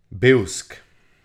Bevsk.